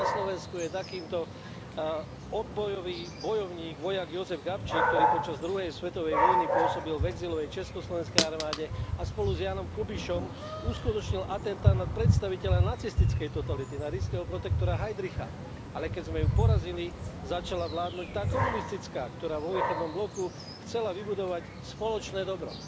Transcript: U nás na Slovensku je takýmto odbojový bojovník, vojak Jozef Gabčík, ktorý počas druhej svetovej vojny pôsobil v exilovej Československej armáde a spolu s Jánom Kubišom uskutočnil atentát na predstaviteľa nacistickej totality, na ríšskeho protektora Heidricha, ale keď sme ju porazili začala vládnuť tá komunistická, ktorá vo východnom bloku chcela vybudovať spoločné dobro.